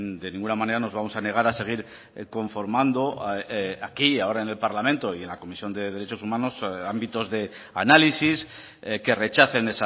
de ninguna manera nos vamos a negar a seguir conformando aquí ahora en el parlamento y en la comisión de derechos humanos ámbitos de análisis que rechacen